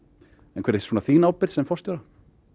en hver er þín ábyrgð sem forstjóra